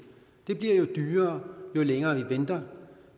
det bliver jo dyrere jo længere vi venter